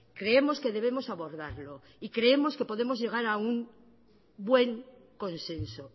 creemos que debemos abordarlo y creemos que podemos llegar a un buen consenso